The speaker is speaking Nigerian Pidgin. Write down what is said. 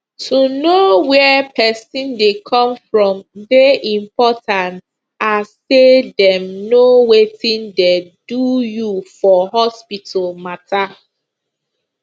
to know where pesin dey come from dey important as say dem know wetin dey do you for hospital matter